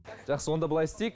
жақсы онда былай істейік